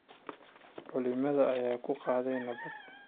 Culimada ayaa ku baaqay nabad.